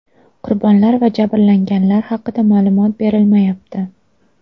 Qurbonlar va jabrlanganlar haqida ma’lumot berilmayapti.